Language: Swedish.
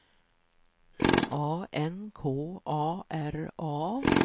A N K A R A